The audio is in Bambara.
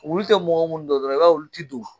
Wulu tɛ mɔgɔ minnu dɔn i b'a y'olu tɛ don